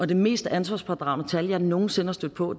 det mest ansvarspådragende tal jeg nogen sinde er stødt på